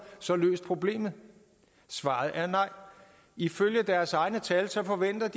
så løst problemet svaret er nej ifølge deres egne tal forventes